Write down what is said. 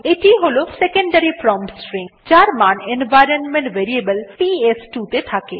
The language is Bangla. এটি ই হল সেকেন্ডারি প্রম্পট স্ট্রিং যার মান এনভাইরনমেন্ট ভেরিয়েবল পিএস2 ত়ে থাকে